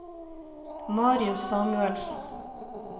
Marius Samuelsen